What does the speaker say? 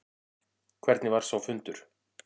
Hvernig var sá fundur?